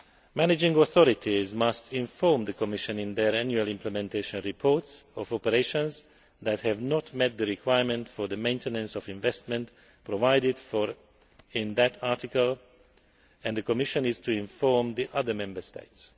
Managing authorities must inform the Commission in their annual implementation reports of operations that have not met the requirements for the maintenance of investment provided for in that article, and the Commission is to inform the other Member States.